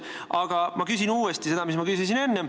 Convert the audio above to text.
Aga ma küsin uuesti seda, mis ma enne küsisin.